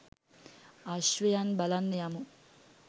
අශ්වයන් බලන්න යමු.